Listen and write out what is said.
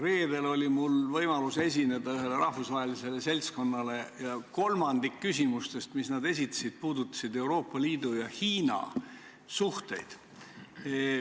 Reedel oli mul võimalus esineda ühele rahvusvahelisele seltskonnale ja kolmandik küsimustest, mis nad esitasid, puudutasid Euroopa Liidu ja Hiina suhteid.